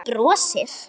Hún brosir.